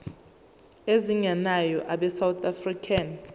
ezingenayo abesouth african